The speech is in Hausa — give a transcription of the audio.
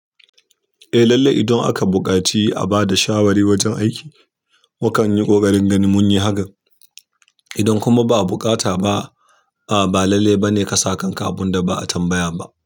Eh lallai idan aka buƙaci a ba da shawari wajen aiki, mukan yi ƙoƙarin gani mun yi hakan. Idan kuma ba a bukata ba, ba lallai ba ne ka sa kanka abun da ba a tambaya ba.